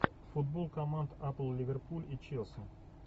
футбол команд апл ливерпуль и челси